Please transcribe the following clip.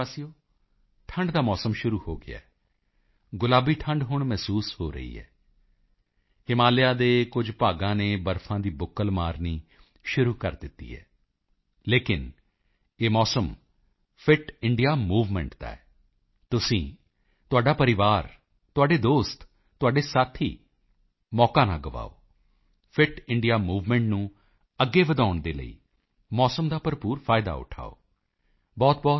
ਮੇਰੇ ਪਿਆਰੇ ਦੇਸ਼ਵਾਸੀਓ ਠੰਡ ਦਾ ਮੌਸਮ ਸ਼ੁਰੂ ਹੋ ਗਿਆ ਹੈ ਗੁਲਾਬੀ ਠੰਡ ਹੁਣ ਮਹਿਸੂਸ ਹੋ ਰਹੀ ਹੈ ਹਿਮਾਲਿਆ ਦੇ ਕੁਝ ਭਾਗਾਂ ਨੇ ਬਰਫ਼ ਦੀ ਬੁੱਕਲ ਮਾਰਨੀ ਸ਼ੁਰੂ ਕਰ ਦਿੱਤੀ ਹੈ ਲੇਕਿਨ ਇਹ ਮੌਸਮ ਫਿਟ ਇੰਡੀਆ ਮੂਵਮੈਂਟ ਦਾ ਹੈ ਤੁਸੀਂ ਤੁਹਾਡਾ ਪਰਿਵਾਰ ਤੁਹਾਡੇ ਦੋਸਤ ਤੁਹਾਡੇ ਸਾਥੀ ਮੌਕਾ ਨਾ ਗਵਾਓ ਫਿਟ ਇੰਡੀਆ ਮੂਵਮੈਂਟ ਨੂੰ ਅੱਗੇ ਵਧਾਉਣ ਦੇ ਲਈ ਮੌਸਮ ਦਾ ਭਰਪੂਰ ਫਾਇਦਾ ਉਠਾਓ